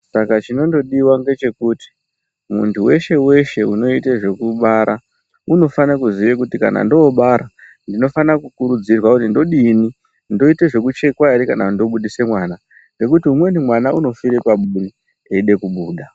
Saka chinondodiwa ngechekuti muntu weshe weshe inoite zvekubara unofane kuziya kuti kana ndobara ndinofanira kukurudzirwa kuti ndodini, ndiite zvekuchekwa ere kana ndobudise mwana ngekuti umweni mwana unofire paburi eide kubuda.